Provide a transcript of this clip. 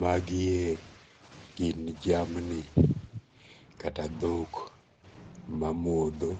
Magie gin jamni kata thok mamotho,